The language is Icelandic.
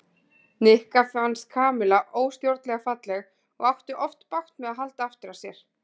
Nikka fannst Kamilla óstjórnlega falleg og átti oft bágt með að halda aftur af sér.